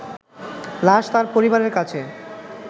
লাশ তার পরিবারের কাছে